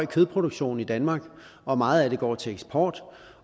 kødproduktion i danmark og meget af den går til eksport